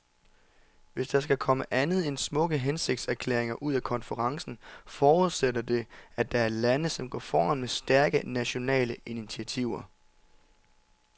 Hvis der skal komme andet end smukke hensigtserklæringer ud af konferencen, forudsætter det, at der er lande, som går foran med stærke, nationale initiativer.